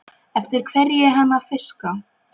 Eftir hverju er hann að fiska?